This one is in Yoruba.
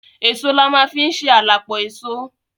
Èso la ma fi ń ṣe à la pọ èso.